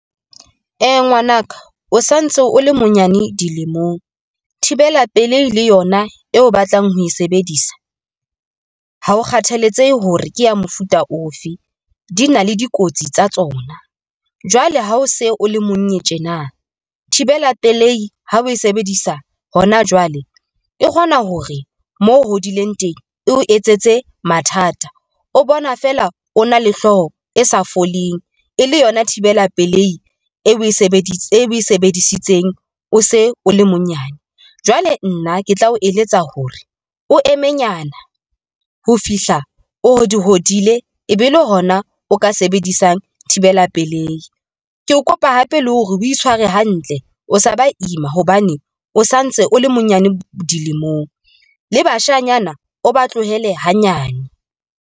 Ngwanaka o santse o le monyane dilemong. Thibela pelehi le yona eo o batlang ho e sebedisa, ha o kgathaletsehe hore ke ya mofuta ofe di na le dikotsi tsa tsona. Jwale ha o se o le monye tjena, thibela pelei ha o e sebedisa hona jwale, e kgona hore mo hodileng teng e o etsetse mathata. O bona fela o na le hlooho e sa foleng e le yona thibela pelei e o e sebedise e sebedisitseng, o se o le monyane. Jwale nna ke tla o eletsa hore o eme nyana ho fihla hodi hodile, ebe le hona o ka sebedisa di isang thibela pelehi. Ke o kopa hape le hore o itshware hantle, o sa ba ima hobane o santse o le monyane dilemong, le bashanyana o ba tlohele hanyane.